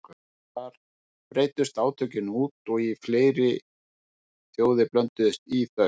Síðar breiddust átökin út og fleiri þjóðir blönduðust í þau.